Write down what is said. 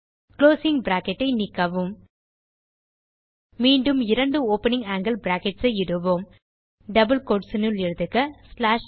closing bracket ஐ நீக்கவும் மீண்டும் இரண்டு ஓப்பனிங் ஆங்கில் பிராக்கெட்ஸ் இடுவோம் டபிள் கோட்ஸ் னுள் எழுதுக ந்